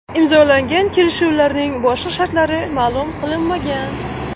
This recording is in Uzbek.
Imzolangan kelishuvlarning boshqa shartlari ma’lum qilinmagan.